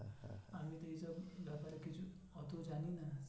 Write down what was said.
আমি তো এইসব ব্যাপারে কিছু অত জানিনা